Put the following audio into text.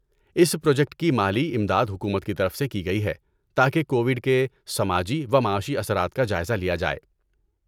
اس project کی مالی امداد حکومت کی طرف سے کی گئی ہے تاکہ کوویڈ کے سماجی و معاشی اثرات کا جائزہ لیا جائے۔